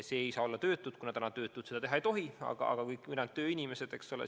Need ei saa olla töötud, kuna töötud praegu seda teha ei tohi, aga võivad kõik ülejäänud, kui nad on tööinimesed.